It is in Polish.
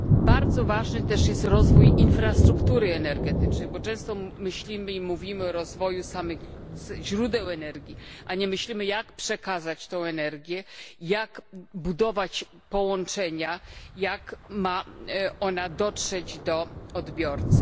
Bardzo ważny też jest rozwój infrastruktury energetycznej, bo często myślimy i mówimy o rozwoju samych źródeł energii, a nie myślimy, jak przekazać tę energię, jak budować połączenia, jak ma ona dotrzeć do odbiorcy.